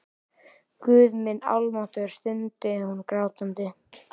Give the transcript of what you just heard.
Guð minn almáttugur, stundi hún grátandi.